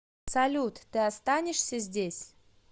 салют ты останешься здесь